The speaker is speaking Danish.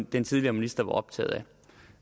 den tidligere minister var optaget